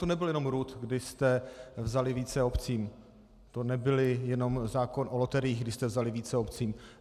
To nebylo jenom RUD, kdy jste vzali více obcím, to nebyl jenom zákon o loteriích, kdy jste vzali více obcím.